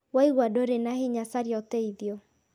Waigua ndũrĩ na hinya caria ũteithio